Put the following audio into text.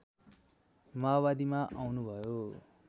माओवादीमा आउनुभयो